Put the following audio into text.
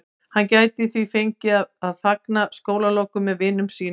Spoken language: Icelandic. Hann gæti því fengið að fagna skólalokum með vinum sínum.